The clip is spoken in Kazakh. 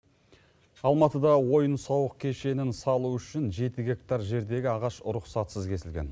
алматыда ойын сауық кешенін салу үшін жеті гектар жердегі ағаш рұқсатсыз кесілген